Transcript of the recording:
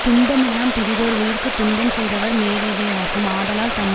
துன்பமெல்லாம் பிறிதோர் உயிர்க்கு துன்பம் செய்தவர் மேலேதேயாகும் ஆதலால் தம்